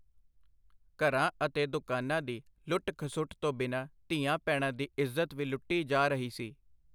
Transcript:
ਘਰਾਂ ਅਤੇ ਦੁਕਾਨਾਂ ਦੀ ਲੁੱਟ-ਖਸੁੱਟ ਤੋਂ ਬਿਨਾਂ ਧੀਆਂ-ਭੈਣਾਂ ਦੀ ਇੱਜ਼ਤ ਵੀ ਲੁੱਟੀ ਜਾ ਰਹੀ ਸੀ.